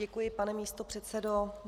Děkuji, pane místopředsedo.